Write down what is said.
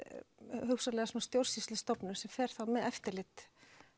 hugsanlegri stjórnsýslustofnun sem fer þá með eftirlit